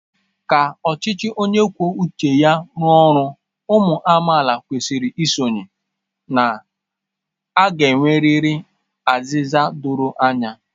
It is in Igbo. Ka ọchịchị onye kwuo uche ya rụọ ọrụ, ụmụ amaala kwesịrị isonye na a ga-enwerịrị azịza doro anya.